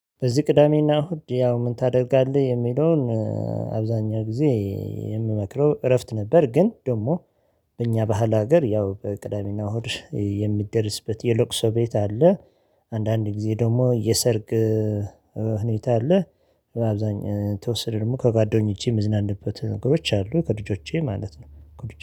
በዚህ ቅዳሜና እሁድ ያው ምን ታደርጋለህ የሚለውን? አብዛኛው ጊዜ የምመክረው እረፍት ነበር። ግን ደግሞ በእኛ ባህል ሀገር ያው በቅዳሜና ሆድ የሚደርስበት የለቅሶ ቤት አለ። አንዳንድ ጊዜ ደግሞ የሰርግ ሁኔታ አለ። አብዛኛው የተወሰነ ደግሞ ከጓደኞቼ ምዝናናበት ነገሮች አሉ ከልጆቼ ማለት ነው።